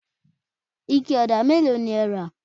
ike òdà mélòó ni ẹ rà?